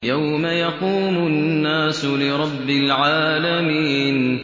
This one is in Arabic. يَوْمَ يَقُومُ النَّاسُ لِرَبِّ الْعَالَمِينَ